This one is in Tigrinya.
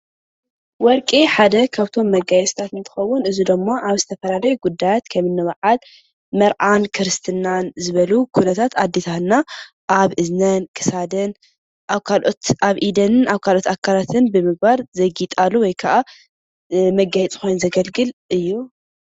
ወርቂ ሓደ ካብቶም መጋየፅታት እንትከውን እዚ ደሞ ኣብ ዝተፈላለዩ ጉዳያት ከምኒ በዓል መርዓን ክርስትና ዝበሉ ኩነታት ኣዴታትና ኣብ ኣብ እዝነን ፣ ክሳደንን ኣብ ኢደንን ኣብ ካሎኦት ኣካለትን ብምግባር ዘግይጣሉ ወይ ከዓ መጋየፂ ኮይኑ ዘገልግል እዩ።